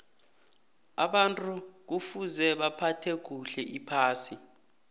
abantu kufuza baphathe kuhle iphasi